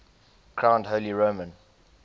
crowned holy roman